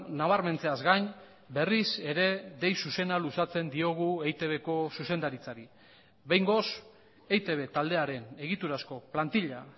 nabarmentzeaz gain berriz ere dei zuzena luzatzen diogu eitbko zuzendaritzari behingoz eitb taldearen egiturazko plantila